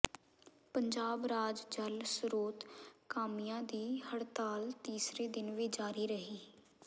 ਪੰਜਾਬ ਰਾਜ ਜਲ ਸਰੋਤ ਕਾਮਿਆਂ ਦੀ ਹੜਤਾਲ ਤੀਸਰੇ ਦਿਨ ਵੀ ਜਾਰੀ ਰਹੀ